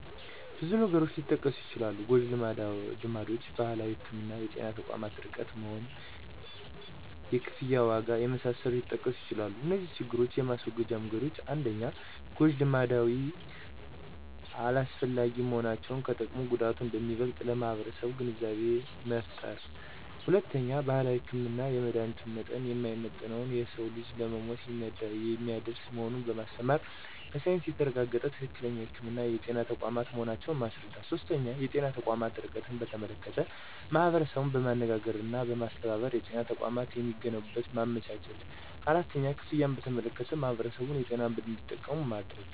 ብዙ ነገሮች ሊጠቀሱ ይችላሉ ጎጅልማዶች: ባህላዊ ህክምና: የጤና ተቋማት ርቀት መሆን: የክፍያ ዋጋ የመሳሰሉት ሊጠቀሱ ይችላሉ እነዚህን ችግሮች የማስወገጃ መንገዶች 1-ጎጂ ልማዶች አላስፈላጊ መሆናቸውን ከጥቅሙ ጉዳቱ አንደሚበልጥ ለማህበረሰቡ ግንዛቤ መፍጠር። 2-ባህላዊ ህክምና የመድሀኒቱ መጠን የማይመጠን የሰዉን ልጅ ለሞት የሚያደርስ መሆኑን በማስተማር በሳይንስ የተረጋገጠ ትክክለኛ ህክምና የጤና ተቋማት መሆናቸውን ማስረዳት። 3-የጤና ተቋማት ርቀትን በተመለከተ ማህበረሰቡን በማነጋገርና በማስተባበር የጤና ተቋማት የሚገነቡበትን ማመቻቸት 4-ክፍያን በተመለከተ ማህበረሰቡን በጤና መድን እንዱጠቀሙ ማድረግ።